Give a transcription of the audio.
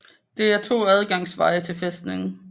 Det er to adgangsveje til fæstningen